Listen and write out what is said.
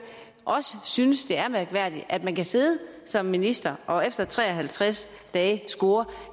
også synes det er mærkværdigt at man kan sidde som minister og efter tre og halvtreds dage score